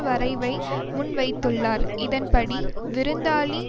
வரைவை முன்வைத்துள்ளார் இதன்படி விருந்தாளி